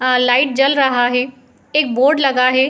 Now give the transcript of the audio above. आ light जल रहा हैं एक बोर्ड लगा हैं।